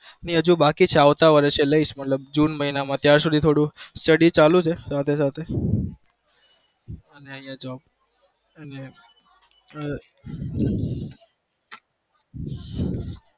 એ હજુ બાકી છે આવતા વર્ષે લઈશ મતલબ june મહિના મા ત્યાર થોડું study ચાલુ છે સાથે સાથે અને અહિયાં job અને